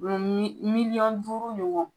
Mɛ miliyɔn duuru ɲɔgɔn